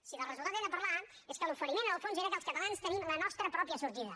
si del resultat hem de parlar és que l’oferiment en el fons era que els catalans tenim la nostra pròpia sortida